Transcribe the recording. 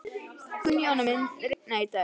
Gunnjóna, mun rigna í dag?